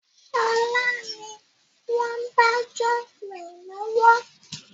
Sọlá ni wọn ń dájọ́ rẹ lọ́wọ́